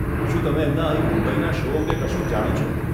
શું તમે એમનાં અહીં મુંબઈના શો અંગે કશુંક જાણો છો?